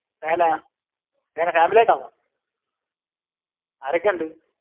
അത് എന്നാ? എങ്ങിനെ family ആയിട്ടാണോ? ആരൊക്കെയുണ്ട്?